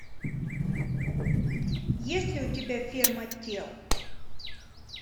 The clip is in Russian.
есть ли у тебя ферма тел